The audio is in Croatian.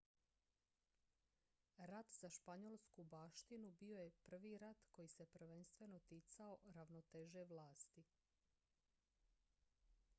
rat za španjolsku baštinu bio je prvi rat koji se prvenstveno ticao ravnoteže vlasti